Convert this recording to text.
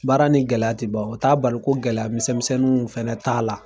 Baara ni gɛlɛya ti ban o t'a bali ko gɛlɛya misɛnmisɛnninw fana t'a la.